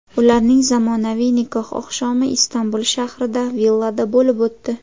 Ularning zamonaviy nikoh oqshomi Istanbul shahrida, villada bo‘lib o‘tdi.